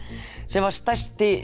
sem var stærsti